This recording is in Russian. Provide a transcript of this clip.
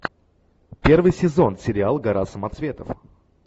первый сезон сериал гора самоцветов